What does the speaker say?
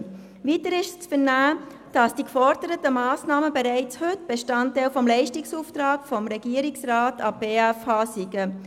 Weiter ist zu vernehmen, dass die geforderten Massnahmen bereits heute Bestandteil des Leistungsauftrags des Regierungsrats an die BFH seien.